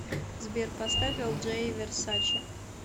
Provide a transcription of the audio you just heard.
сбер поставь элджей версаче